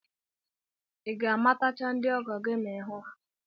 I ga-amatacha ndị ọgọ gị ma ị hụ ha?